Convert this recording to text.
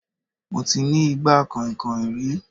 Mo ti ní igbá kànhìnkànhìn rí